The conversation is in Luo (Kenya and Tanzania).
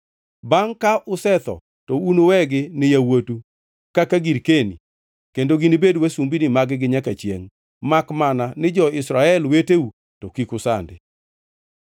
Bangʼ ka usetho to unuwegi ni yawuotu kaka girkeni kendo ginibed wasumbini mag-gi nyaka chiengʼ, makmana ni jo-Israel weteu to kik usandi.